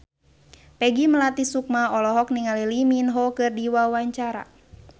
Peggy Melati Sukma olohok ningali Lee Min Ho keur diwawancara